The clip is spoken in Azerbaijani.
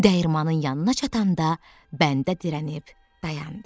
Dəyirmanın yanına çatanda bəndə dirənib dayandı.